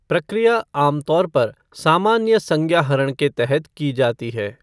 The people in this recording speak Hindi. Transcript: प्रक्रिया आमतौर पर सामान्य संज्ञाहरण के तहत की जाती है।